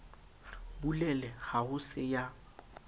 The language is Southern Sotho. bulele ha ho se ya